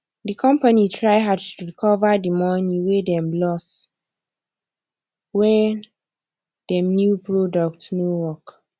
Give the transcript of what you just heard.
di company try hard to recover di money wey dem lose when dem new product no work